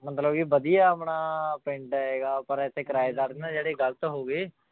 ਮਤਲਬ ਕਿ ਵਧੀਆ ਆਪਣਾ ਪਿੰਡ ਹੈਗਾ ਪਰ ਇੱਥੇ ਕਿਰਾਏਦਾਰ ਨਾ ਜਿਹੜਾ ਗ਼ਲਤ ਹੋ ਗਏ।